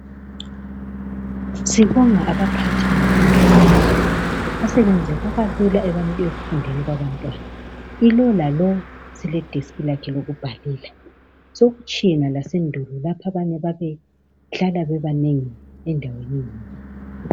Sibonga abaphathi bemfundo yaphezulu umsebenzi ubalula ekufundeni kwabantwana ilo lalo sele deskhi lakhe lokubhalela. Sekutshiyene lasendulo lapho abanye ababe hlala bebanengi endaweni eyodwa.